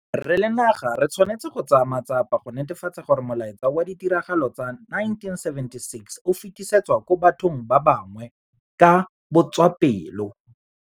Re le naga re tshwanetse go tsaya matsapa go netefatsa gore molaetsa wa ditiragalo tsa 1976 o fetisetswa kwa bathong ba bangwe ka botswapelo.